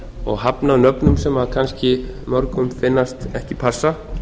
og hafnað nöfnum sem kannski mörgum finnast ekki passa